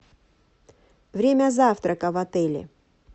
время завтрака в отеле